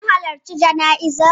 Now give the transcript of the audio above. Kun halarci jana'izar?